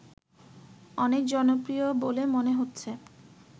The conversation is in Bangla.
অনেক জনপ্রিয় বলে মনে হচ্ছে